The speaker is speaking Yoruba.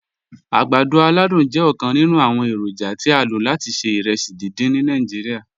Agbàdọ̀ aládùn jẹ̀ ọkan nínu awọn èrójà tí a ló láti ṣẹ̀ ìrèsí díndín ni Nàìjíríà.